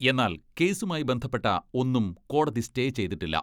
എന്നാൽ കേസുമായി ബന്ധപ്പെട്ട ഒന്നും കോടതി സ്റ്റേ ചെയ്തിട്ടില്ല.